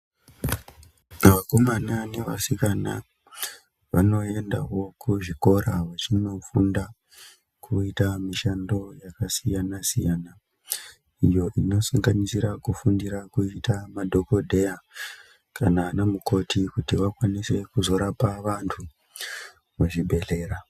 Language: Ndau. Vakomana nevasikana vanoendawo kuzvikora vachinofunda kuita mishando yakasiyana siyana iyo ino sanganisira kufundira kuita madhokodheya kana anamukoti kuti vakwanise kuzorapa vantu muzvibhehleya.